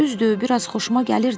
Düzdür, biraz xoşuma gəlirdi.